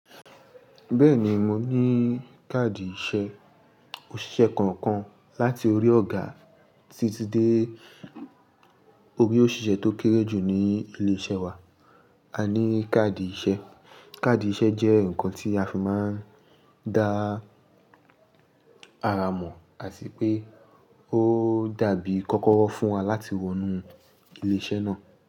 Bẹ́ẹ̀ni mo ní káàdì iṣẹ́. Òṣìṣẹ́ kọ̀ọ̀kan láti orí ọ̀gá títí dé orí òṣìṣẹ́ tó kéré jù ní ilé-iṣẹ́ wa a ní káàdì iṣẹ́. Káàdì iṣẹ́ jẹ́ nǹkan tí a fi máa ń dá ara mọ̀, àtí pé ó dàbí kọ́kọ́rọ́ fún wa láti wọ inú ilé-iṣẹ́ náà.